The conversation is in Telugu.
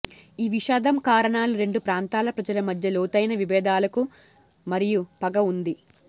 ఈ విషాదం కారణాలు రెండు ప్రాంతాల ప్రజల మధ్య లోతైన విభేదాలకు మరియు పగ ఉంది